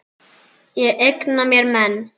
Ég eigna mér menn.